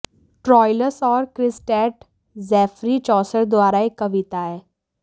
Troilus और Criseyde Geoffrey Chaucer द्वारा एक कविता है